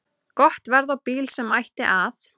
Gott verð á bíl sem ætti að